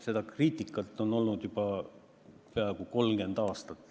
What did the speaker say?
Seda kriitikat on olnud juba peaaegu 30 aastat.